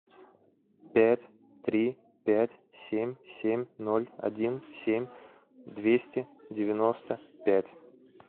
пять три пять семь семь ноль один семь двести девяносто пять